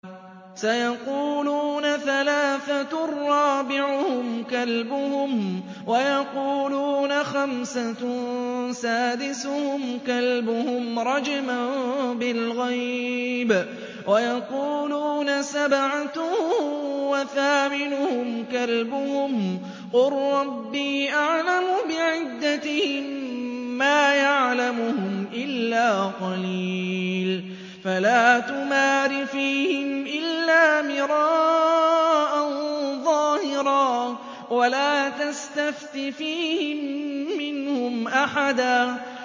سَيَقُولُونَ ثَلَاثَةٌ رَّابِعُهُمْ كَلْبُهُمْ وَيَقُولُونَ خَمْسَةٌ سَادِسُهُمْ كَلْبُهُمْ رَجْمًا بِالْغَيْبِ ۖ وَيَقُولُونَ سَبْعَةٌ وَثَامِنُهُمْ كَلْبُهُمْ ۚ قُل رَّبِّي أَعْلَمُ بِعِدَّتِهِم مَّا يَعْلَمُهُمْ إِلَّا قَلِيلٌ ۗ فَلَا تُمَارِ فِيهِمْ إِلَّا مِرَاءً ظَاهِرًا وَلَا تَسْتَفْتِ فِيهِم مِّنْهُمْ أَحَدًا